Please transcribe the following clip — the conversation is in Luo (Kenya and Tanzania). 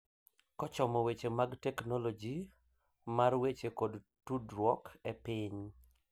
Kochomo weche mag Teknoloji mar Weche kod Tudruok e piny;